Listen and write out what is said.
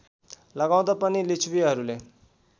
लगाउँदा पनि लिच्छवीहरूले